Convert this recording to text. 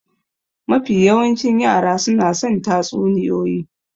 Mafi yawancin yara suna son tatsuniyoyi.